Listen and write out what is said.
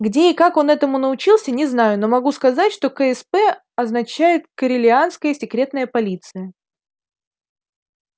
где и как он этому научился не знаю но могу сказать что ксп означает корелианская секретная полиция